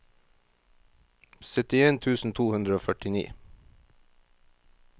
syttien tusen to hundre og førtini